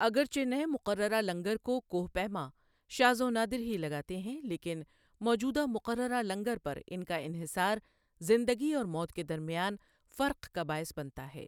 اگرچہ نئے مقررہ لنگر کو کوہ پیما شاذ و نادر ہی لگاتے ہیں، لیکن موجودہ مقررہ لنگر پر ان کا انحصار زندگی اور موت کے درمیان فرق کا باعث بنتا ہے۔